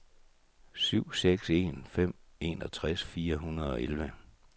syv seks en fem enogtres fire hundrede og elleve